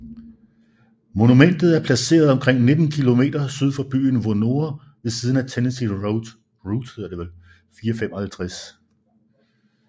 Monumentet er placeret omkring 19 km syd for byen Vonore ved siden af Tennessee Route 455